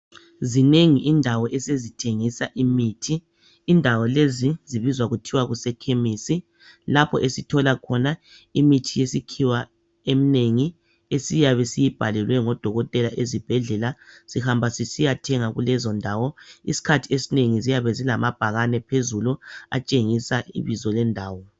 Ezinengi indawo esezithengisa imithi. Indawo lezi zibizwa kuthwe kuse chemis lapho esithola khona imithi yesikhiwa eminengi esiyabe siyibhalelwe ngodokotela ezibhendlela sihamba sisiyathenga kulezondawo. Isikhathi esinengi ziyabe zilamabhakane phezulu atshengisa ibizo lendawo.